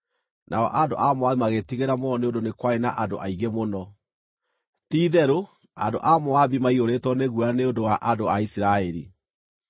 nao andũ a Moabi magĩĩtigĩra mũno nĩ ũndũ nĩ kwarĩ na andũ aingĩ mũno. Ti-itherũ, andũ a Moabi maiyũrĩtwo nĩ guoya nĩ ũndũ wa andũ a Isiraeli.